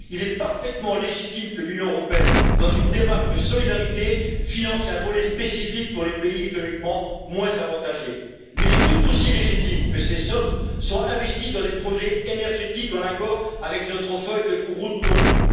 Il est parfaitement légitime que l'Union européenne, dans une démarche de solidarité, finance un volet spécifique pour les pays économiquement moins avantagés, mais il est tout aussi légitime que ces sommes soient investies dans des projets énergétiques en accord avec notre feuille de route commune.